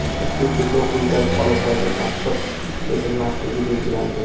ushbu cheklov quyidagi holatlarga tatbiq etilmasligi belgilandi:.